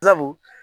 Sabu